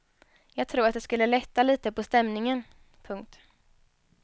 Jag tror att det skulle lätta litet på stämningen. punkt